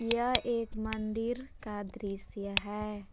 यह एक मंदिर का दृश्य है।